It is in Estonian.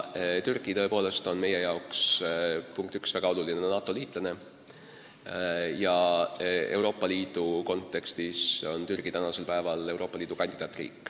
Türgi on tõepoolest meie jaoks väga oluline NATO-liitlane, ka on ta praegu Euroopa Liidu kandidaatriik.